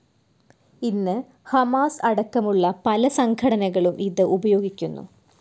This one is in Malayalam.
ഇന്ന് ഹമാസ് അടക്കമുള്ള പല സംഘടനകളും ഇത് ഉപയോഗിക്കുന്നു.